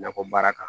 Nakɔ baara kan